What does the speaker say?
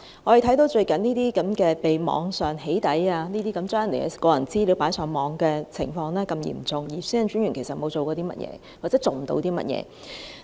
我們看到最近發生的網上"起底"、將個人資料放上網的情況十分嚴重，但其實專員並沒有做過甚麼，又或他也做不到甚麼。